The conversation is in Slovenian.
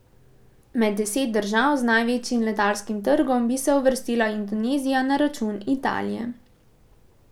Med deset držav z največjim letalskim trgom bi se uvrstila Indonezija na račun Italije.